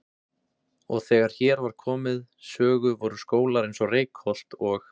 Og þegar hér var komið sögu voru skólar eins og Reykholt og